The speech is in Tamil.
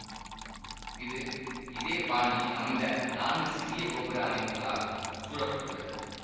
இது இதே பாணியில் அமைந்த நான்கு சிறிய கோபுர அமைப்புக்களால் சூழ பட்டுள்ளது